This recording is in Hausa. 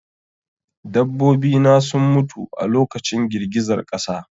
Dabbobi na sun mutu a lokacin girgizar ƙasa